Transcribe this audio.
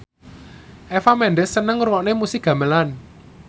Eva Mendes seneng ngrungokne musik gamelan